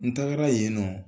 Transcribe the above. N tagara yen nɔ.